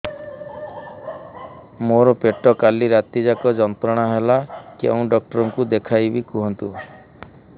ମୋର ପେଟ କାଲି ରାତି ଯାକ ଯନ୍ତ୍ରଣା ଦେଲା କେଉଁ ଡକ୍ଟର ଙ୍କୁ ଦେଖାଇବି କୁହନ୍ତ